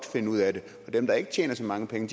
finde ud af det men dem der ikke tjener så mange penge